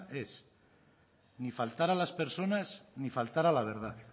es ni faltar a las personas ni faltar a la verdad